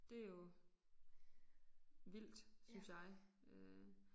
Det jo vildt synes jeg øh